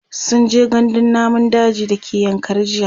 sunje gandun namun daji da ke yankari jiya